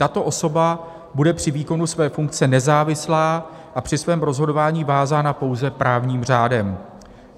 Tato osoba bude při výkonu své funkce nezávislá a při svém rozhodování vázána pouze právním řádem.